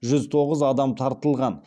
жүз тоғыз адам тартылған